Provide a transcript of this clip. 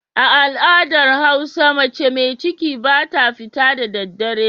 A al'adar hausa mace mai ciki ba ta fita da daddare.